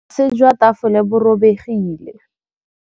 Botlasê jwa tafole bo robegile.